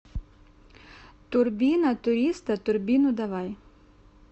турбина туриста турбину давай